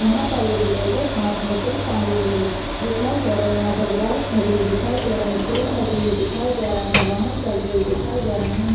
यहाँ पर एक लेडीज हात मे कुछ टांगे हुए दिखाई दे रही है यहाँ पर बाइक खड़ी हुई दिखाई दे रही है पेड़ लगे हुए दिखाई दे रहे है वाहन चलते हुए दिखाई दे रहे है।